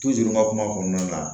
n ka kuma kɔnɔna na